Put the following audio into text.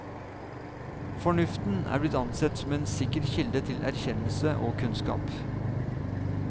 Fornuften er blitt ansett som en sikker kilde til erkjennelse og kunnskap.